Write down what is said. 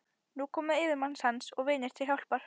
Og nú komu yfirmenn hans og vinir til hjálpar.